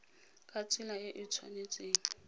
ka tsela e e tshwanetseng